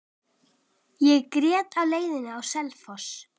Ég grét á leiðinni á Selfoss.